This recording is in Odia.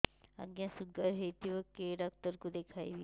ଆଜ୍ଞା ଶୁଗାର ହେଇଥିବ କେ ଡାକ୍ତର କୁ ଦେଖାମି